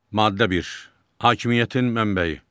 Maddə bir, hakimiyyətin mənbəyi.